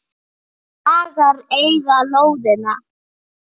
Hagar eiga lóðina.